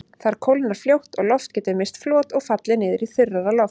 Þar kólnar fljótt og loft getur misst flot og fallið niður í þurrara loft.